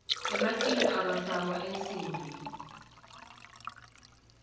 ematinyo ekufakwa ensimbi